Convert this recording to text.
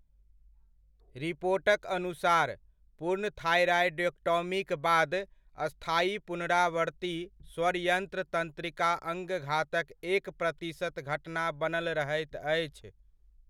रिपोटक अनुसार, पूर्ण थायरॉयडेक्टॉमीक बाद, स्थायी पुनरावर्ती स्वरयन्त्र तन्त्रिका अङ्गघातक एक प्रतिशत घटना बनल रहैत अछि।